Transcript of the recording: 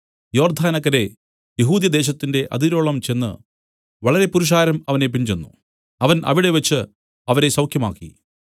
യോർദ്ദാനക്കരെ യെഹൂദ്യദേശത്തിന്റെ അതിരോളം ചെന്ന് വളരെ പുരുഷാരം അവനെ പിൻചെന്നു അവൻ അവിടെവച്ച് അവരെ സൌഖ്യമാക്കി